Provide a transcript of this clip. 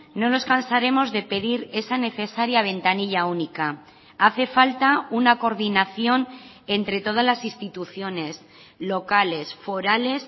no nos cansaremos de pedir esa necesaria ventanilla única hace falta una coordinación entre todas las instituciones locales forales